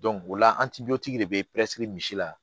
o la de bɛ misi la